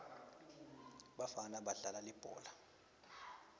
bafana badlala libhola